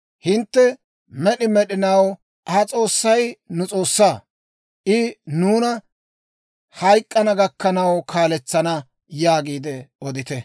Hintte, «Med'i med'inaw ha S'oossay nu S'oossaa; I nuuna hayk'k'ana gakkanaw kaaletsana» yaagiide odite.